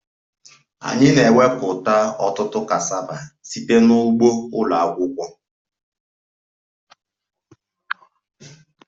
Anyị na-ewepụta ọtụtụ cassava site na ugbo ụlọ akwụkwọ